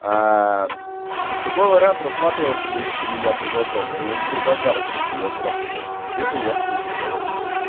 а такой вариант рассматривался бы если бы я предложил но я не предлагал блядь я сразу сказал что тебе бы я хуй предложил